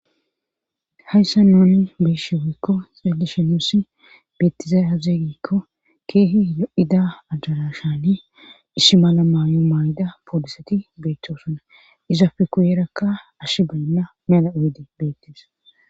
hayssa nooni beshi weykko xelishenosi beettizay azeeygikko keehi o7ida ajarashani ishi mala maayo maayda pooliseti beettosuna izafe kuuyeerakka ash baynna mela u7ede beettis